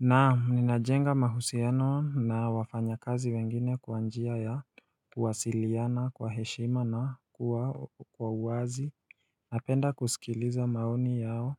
Naam ninajenga mahusiano na wafanya kazi wengine kwa njia ya kuwasiliana kwa heshima na kuwa wa uwazi Napenda kusikiliza maoni yao